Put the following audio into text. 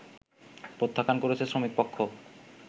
প্রত্যাখ্যান করেছে শ্রমিকপক্ষ